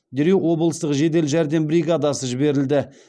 дереу облыстық жедел жәрдем бригадасы жіберілді